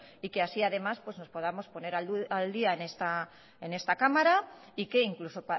y que así además nos podamos poner al día en esta cámara y que incluso